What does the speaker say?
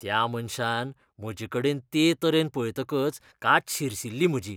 त्या मनशान म्हजेकडेन ते तरेन पळयतकच कात शिरशिरली म्हजी.